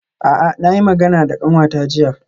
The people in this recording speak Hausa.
A'a na yi magana da kanwata jiya.